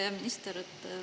Hea minister!